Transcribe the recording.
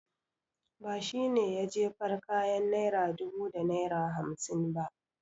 Ba shi ne ya jefar kayan naira dubu da naira hamsin.